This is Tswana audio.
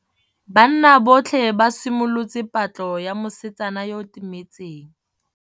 Banna botlhê ba simolotse patlô ya mosetsana yo o timetseng.